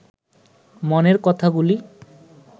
মনের কথাগুলি